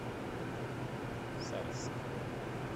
сальск